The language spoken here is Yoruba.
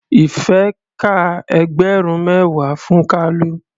Ìfẹ́ ka ẹgbẹ̀rún mẹ́wàá fún Kalu.